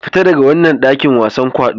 Fita daga wannan dakin wasan kwaɗo!